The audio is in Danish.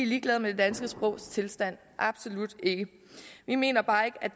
ligeglade med det danske sprogs tilstand absolut ikke vi mener bare ikke at